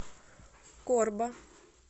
корба